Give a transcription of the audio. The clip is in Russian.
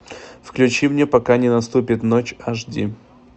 включи мне пока не наступит ночь аш ди